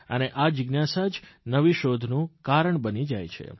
અને આ જિજ્ઞાસા જ નવી શોધનું કારણ બની જાય છે